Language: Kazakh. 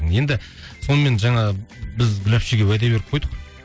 енді сонымен жаңа біз гүл әпшеге уәде беріп қойдық